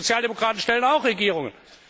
die Sozialdemokraten stellen auch Regierungen.